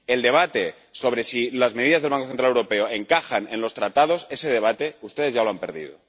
El debate sobre si las medidas del Banco Central Europeo encajan en los Tratados, ese debate ustedes ya lo han perdido.